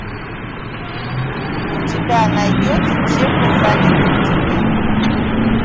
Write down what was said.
у тебя найдется чем мы заняты в тени